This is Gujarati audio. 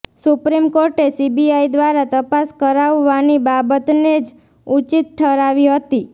સુપ્રીમ કોર્ટે સીબીઆઇ દ્વારા તપાસ કરાવવાની બાબતને જ ઉચિત ઠરાવી હતી